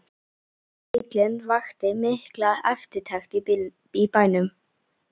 Nýi bíllinn vakti mikla eftirtekt í bænum.